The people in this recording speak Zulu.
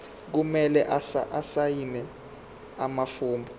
kumele asayine amafomu